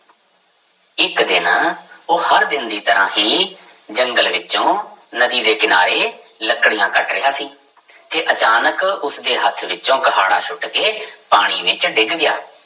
ਇੱਕ ਦਿਨ ਉਹ ਹਰ ਦਿਨ ਦੀ ਤਰ੍ਹਾਂ ਹੀ ਜੰਗਲ ਵਿੱਚੋਂ ਨਦੀ ਦੇ ਕਿਨਾਰੇ ਲੱਕੜੀਆਂ ਕੱਟ ਰਿਹਾ ਸੀ ਕਿ ਅਚਾਨਕ ਉਸਦੇ ਹੱਥ ਵਿੱਚੋਂ ਕੁਹਾੜਾ ਸੁੱਟ ਕੇ ਪਾਣੀ ਵਿੱਚ ਡਿੱਗ ਗਿਆ।